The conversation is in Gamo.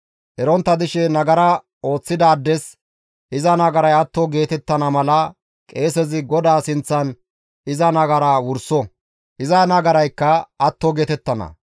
Erontta dishe nagara ooththidaades iza nagaray atto geetettana mala qeesezi GODAA sinththan iza nagaraa wurso; iza nagaraykka atto geetettana.